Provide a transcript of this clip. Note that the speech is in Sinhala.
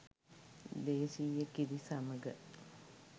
දේශිය කිරි සමග